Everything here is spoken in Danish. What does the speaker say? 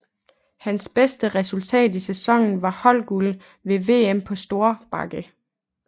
Hans bedste resultat i sæsonen var holdguld ved VM på stor bakke